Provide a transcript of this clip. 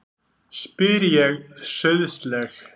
spyr ég sauðsleg.